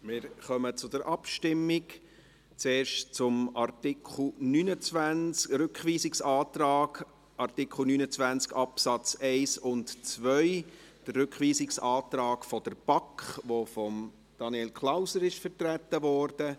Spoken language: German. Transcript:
Wir kommen zur Abstimmung, zuerst zum Artikel 29 Absätze 1 und 2, Rückweisungsantrag BaK, der von Daniel Klauser vertreten wurde.